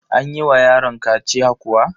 An yi wa yaron kaciya kuwa?